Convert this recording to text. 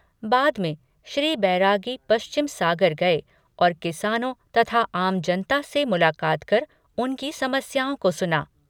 बाद में श्री बैरागी पश्चिम सागर गए और किसानों तथा आम जनता से मुलाकात कर उनकी समस्याओं को सुना।